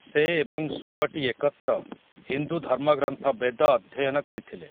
ସେ ଏବଂ ଶୁକଟି ଏକତ୍ର, ହିନ୍ଦୁ ଧର୍ମଗ୍ରନ୍ଥ ବେଦ ଅଧ୍ୟୟନ କରିଥିଲେ ।